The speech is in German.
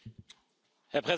Herr Präsident!